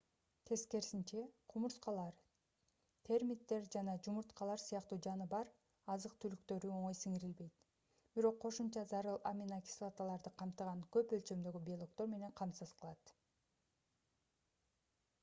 тескерисинче кумурскалар термиттер жанажумурткалар сыяктуу жаныбар азык-түлүктөрү оңой сиңирилбейт бирок кошумча зарыл аминокислоталарды камтыган көп өлчөмдөгү белоктор менен камсыз кылат